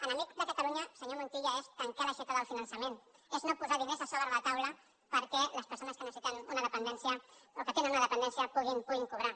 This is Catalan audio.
enemic de catalunya senyor montilla és tancar l’aixeta del finançament és no posar diners sobre la taula perquè les persones que tenen una dependència puguin cobrar